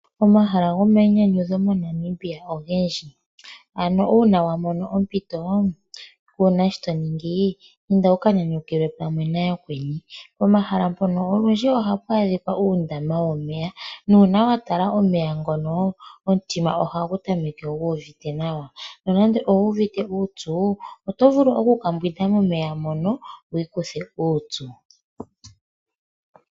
Omahala gomainyanyudho moNamibia ogendji. Uuna wa mono ompito kuu na shi to ningi inda wu ka nyanyukilwe pamwe nayakweni. Pomahala mpono olundji ohapu adhika uundama womeya nuuna wa tala omeya ngono omutima ohagu kala gu uvite nawa. Uuna nande owu uvite uupyu oto vulu oku ka mbwinda momeya moka opo wu ikuthe uupyu.